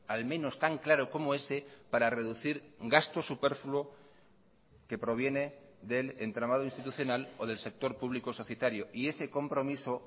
al menos tan claro como ese para reducir gasto superfluo que proviene del entramado institucional o del sector público societario y ese compromiso